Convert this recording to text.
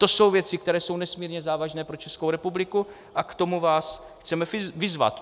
To jsou věci, které jsou nesmírně závažné pro Českou republiku, a k tomu vás chceme vyzvat.